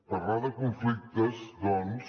parlar de conflictes doncs